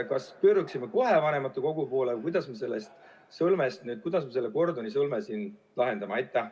Kas me pöörduksime kohe vanematekogu poole või kuidas me selle Gordioni sõlme lahendame?